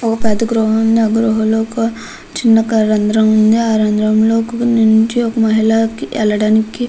ఒక పెద్ధ గృహ ఉంది. ఆ గృహ లో చిన్న ఒక రంద్రం ఉంది. ఆ రంద్రం లో నించి ఒక మహిళా ఎల్లడానికి--